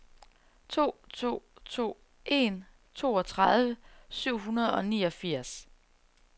to to to en toogtredive syv hundrede og niogfirs